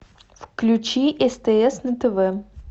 включи стс на тв